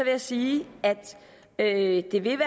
jeg sige at det vil